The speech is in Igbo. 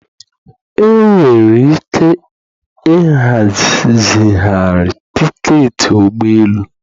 Enwere ike ịha zigharị tiketi ụgbọ elu